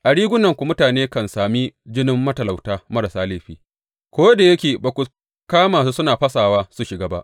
A rigunanku mutane kan sami jinin matalauta marasa laifi, ko da yake ba ku kama su suna fasawa su shiga ba.